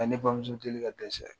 A ye ne bamuso deli ka dɛsɛ.